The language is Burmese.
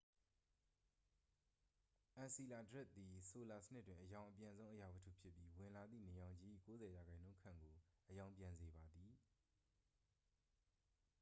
အန်စီလာဒွတ်စ်သည် ဆိုလာစနစ်တွင် အရောင်အပြန်ဆုံး အရာဝတ္ထုဖြစ်ပြီး ဝင်လာသည့် နေရောင်ခြည်၏ 90 ရာခိုင်နှုန်းခန့်ကို အရောင်ပြန်စေပါသည်